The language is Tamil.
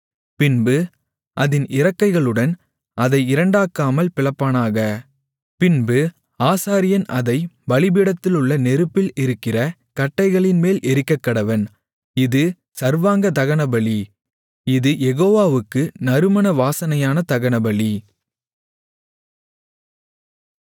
பின்பு அதின் இறக்கைகளுடன் அதை இரண்டாக்காமல் பிளப்பானாக பின்பு ஆசாரியன் அதைப் பலிபீடத்திலுள்ள நெருப்பில் இருக்கிற கட்டைகளின்மேல் எரிக்கக்கடவன் இது சர்வாங்க தகனபலி இது யெகோவாவுக்கு நறுமண வாசனையான தகனபலி